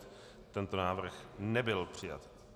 Tento návrh nebyl přijat.